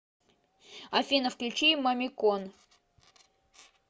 афина включи мамикон